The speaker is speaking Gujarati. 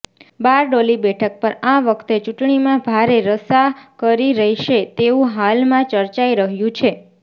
બારડોલી બેઠક પર આ વખતે ચૂંટણીમાં ભારે રસાકરી રહેશે તેવું હાલમાં ચર્ચાઇ રહ્યું છે